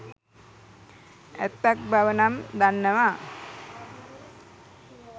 ඇත්තක් බව නම් දන්නවා.